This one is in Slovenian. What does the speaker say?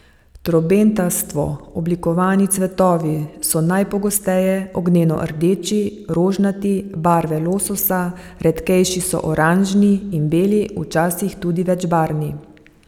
Trobentasto oblikovani cvetovi so najpogosteje ognjeno rdeči, rožnati, barve lososa, redkejši so oranžni in beli, včasih tudi večbarvni.